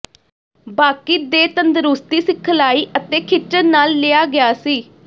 ਬਾਕੀ ਦੇ ਤੰਦਰੁਸਤੀ ਸਿਖਲਾਈ ਅਤੇ ਖਿੱਚਣ ਨਾਲ ਲਿਆ ਗਿਆ ਸੀ